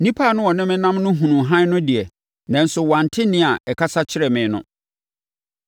Nnipa a na wɔne me nam no hunuu hann no de, nanso wɔante nne a ɛkasa kyerɛɛ me no.